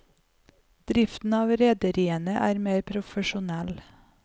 Driften av rederiene er mer profesjonell.